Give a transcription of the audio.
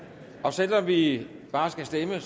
selv om vi bare skal stemme